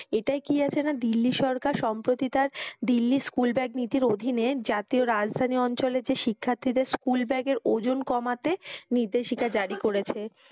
এটায় কি আছে না দিল্লী সরকার সম্প্রতি তার দিল্লী স্কুল ব্যাগ নীতির অধীনে জাতীয় রাজধানী অঞ্চলের যে শিক্ষার্থীদের school bag এর ওজন কমাতে নির্দেশিকা জারি করেছে।